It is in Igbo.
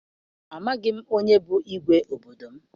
Amaghị m onye bụ igwe obodo m.